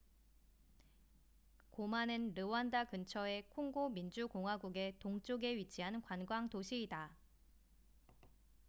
고마는 르완다 근처에 콩고 민주 공화국의 동쪽에 위치한 관광 도시이다